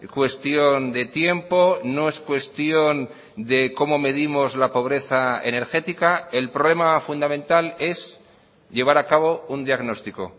cuestión de tiempo no es cuestión de cómo medimos la pobreza energética el problema fundamental es llevar a cabo un diagnóstico